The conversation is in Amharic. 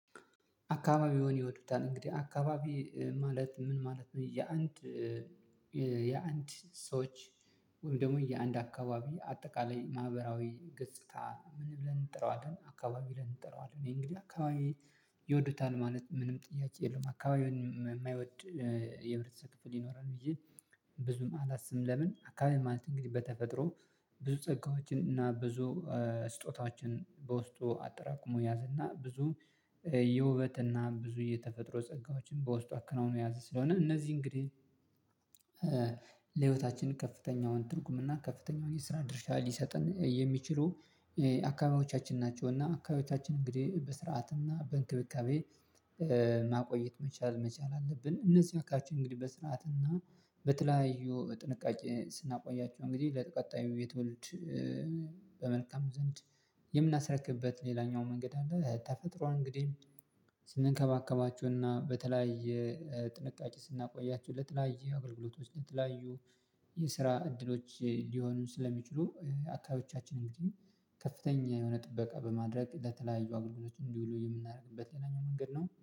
አካባቢዎን ይወዱታል? እንግዲህ አካባቢ ማለት ምን ማለት ነው የአንድ የአንድ ሰዎች ወይም ደግሞ የአንድ አካባቢ አጠቃላይ ማህበራዊ ገጽታ ምን ብለን እንጥረዋለን አካባቢ ብለን እንጠረዋለን እኔ እንግዲህ አካባቢ ይወዱታል ማለት ምንም ጥያቄ የለውም አካባቢውን የማይወድ የህብረተሰብ ክፍል ይኖራል ብዬ ብዙም አላስብም። ለምን አካባቢ ማለት እንግዲህ በተፈጥሮ ብዙ ጸጋዎችን እና ብዙ ስጦታዎችን በውስጡ አጠራቅሞ የያዘና ብዙ የውበት እና ብዙ የተፈጥሮ ጸጋዎችን በውስጡ አከናውኖ የያዘ ስለሆነ እነዚህ እንግዲህ ለህይወታችን ከፍተኛውን ትርጉምና ከፍተኛውን የስራ ድርሻ ሊሰጥን የሚችሉ አካባቢዎቻችን ናቸውና አካባቢዎቻችን እንግዲህ በስርዓትና በእንክብካቤ ማቆየት መቻል መቻል አለብን እነዚህ አካባቢዎቻችን እንግዲህ በስርዓት እና በተለያዩ ጥንቃቄ ስናቆያቸው እንግዲህ ለቀጣዩ የትወልድ በመልካም ዘንድ የምናስረክብበት ሌላኛው መንገድ አለ ተፈጥሯን እንግዲህ ስንከባከባቸውና በተለያየ ጥንቃቄ ስናቆያቸው ለተለያየ አገልግሎቶች ለተለያዩ የስራ እድሎች ሊሆኑ ስለሚችሉ አካባቢዎቻችን እንግዲህ ከፍተኛ የሆነ ጥበቃ በማድረግ ለተለያዩ አገልግሎቶች እንዲውሉ የምናደርግበት ሌላኛው መንገድ ነው።